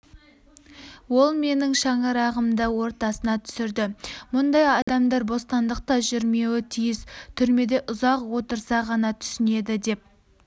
ол менің шаңырағымды ортасына түсірді мұндай адамдар бостандықта жүрмеуі тиіс түрмеде ұзақ отырса ғана түсінеді деп